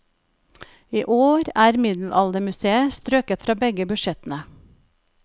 I år er middelaldermuseet strøket fra begge budsjettene.